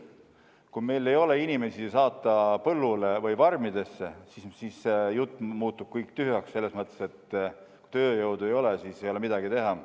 Kui meil ei ole inimesi põllule või farmidesse saata, siis see jutt muutub kõik tühjaks, selles mõttes, et kui tööjõudu ei ole, siis ei ole midagi teha.